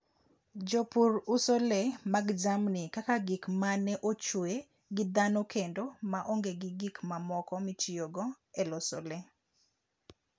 Jopur uso le mag jamni kaka gik ma ne ochwe gi dhano kendo ma onge gi gik mamoko mitiyogo e loso le.